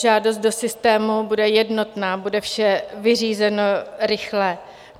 Žádost do systému bude jednotná, bude vše vyřízeno rychle.